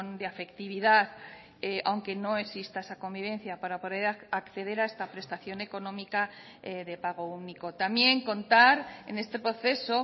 de afectividad aunque no exista esa convivencia para poder acceder a esta prestación económica de pago único también contar en este proceso